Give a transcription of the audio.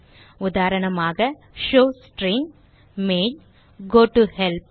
உதாரணமாக showString main goToHelp